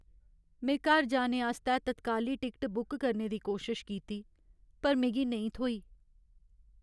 में घर जाने आस्तै तत्काली टिकट बुक करने दी कोशश कीती पर मिगी नेईं थ्होई।